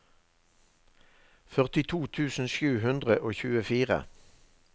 førtito tusen sju hundre og tjuefire